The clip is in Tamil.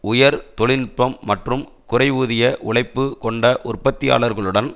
உயர் தொழில் நுட்பம் மற்றும் குறைவூதிய உழைப்பு கொண்ட உற்பத்தியாளர்களுடன்